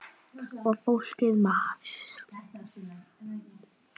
Og fólkið maður.